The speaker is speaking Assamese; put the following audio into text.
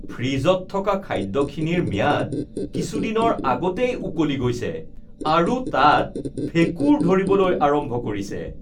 ফ্ৰীজত থকা খাদ্যখিনিৰ ম্যাদ কিছুদিনৰ আগতেই উকলি গৈছে আৰু তাত ভেঁকুৰ ধৰিবলৈ আৰম্ভ কৰিছে